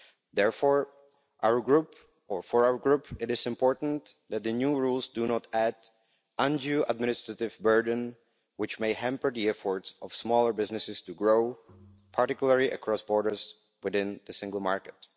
Therefore, for our group it is important that the new rules do not add an undue administrative burden which may hamper the efforts of smaller businesses to grow, particularly across borders within the single market.